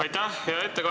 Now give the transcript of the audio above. Aitäh!